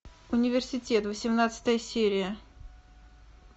университет восемнадцатая серия